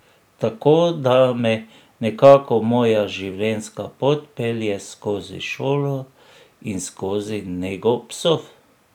Tako da me nekako moja življenjska pot pelje skozi šolo in skozi nego psov.